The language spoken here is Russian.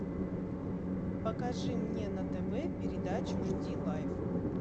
покажи мне на тв передачу жди лайф